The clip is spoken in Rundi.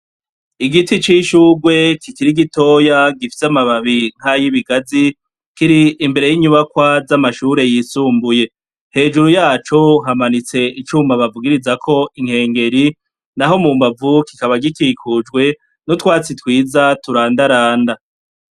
Igiti c'ishugwe kikiri gitoya gifise amababi nkayibigazi Kiri imbere y'inyubakwa z'amashure yisumbuye, hejuru yaco hamanitse icuma bavugirizako inkengeri naho mu mbavu kikaba gikikujwe n'utwatsi twiza turandaranda.